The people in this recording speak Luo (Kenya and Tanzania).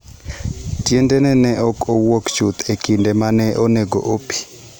Tiendege ne ok owuok chuth e kinde ma ne onego opii.